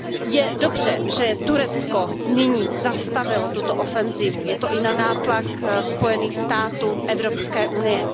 Je dobře, že Turecko nyní zastavilo tuto ofenzivu, je to i na nátlak Spojených států, Evropské unie.